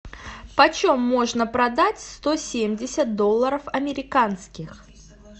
почем можно продать сто семьдесят долларов американских